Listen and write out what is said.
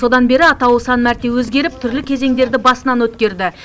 содан бері атауы сан мәрте өзгеріп түрлі кезеңдерді басынан өткерді